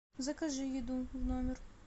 закажи еду в номер